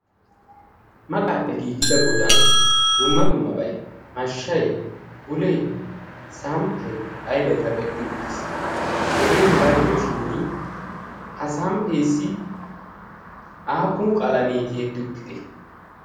Maqaappe giigida godan dumma dummabayi mashshay, bulee, samppay ayibay kaqetti uttis. Hegee hegaa gidoshin ha samppeessi aappun qalamee tiyetti uttidee?